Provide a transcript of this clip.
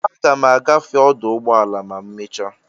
Aga m agafe ọdụ ụgbọ ala ma emecha.